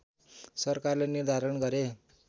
सरकारले निर्धारण गरे